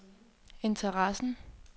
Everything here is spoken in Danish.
interessen